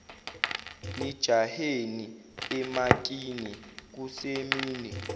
nijaheni emakini kusemini